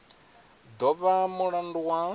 do vha na mulandu wa